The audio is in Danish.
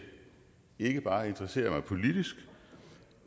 ikke bare interesserer mig politisk